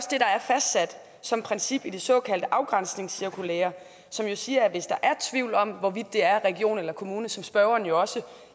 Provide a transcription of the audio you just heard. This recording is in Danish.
det der er fastsat som princip i det såkaldte afgrænsningscirkulære som jo siger at hvis der er tvivl om hvorvidt det er regionen eller kommunen som spørgeren jo også